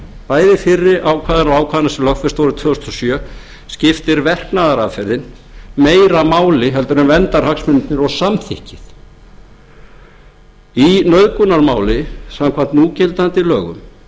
bæði fyrri ákvæðanna og ákvæðanna sem lögfest voru tvö þúsund og sjö skiptir verknaðaraðferðin meira máli en verndarhagsmunirnir og samþykkið í nauðgunarmáli samkvæmt núgildandi lögum